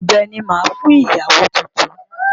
Ọ̀bẹ ni màá fún ìyàwó tuntun.